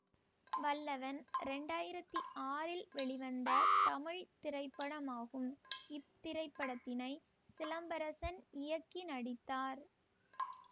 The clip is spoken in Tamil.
வல்லவன் இரண்டு ஆயிரத்தி ஆறில் வெளிவந்த தமிழ் திரைப்படமாகும் இத்திரைப்படத்தினை சிலம்பரசன் இயக்கி நடித்தார்